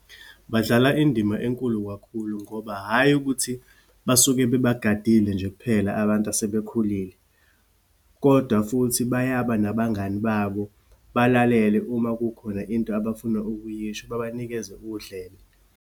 Badlala indima enkulu kakhulu ngoba hhayi ukuthi basuke bebagadile nje kuphela abantu asebekhulile. Kodwa futhi bayaba nabangani babo, balalele uma kukhona into abafuna ukuyisho, babanikeze udlebe.